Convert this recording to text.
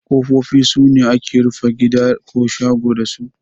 Kofofi sune ake rufe gida ko shago dasu.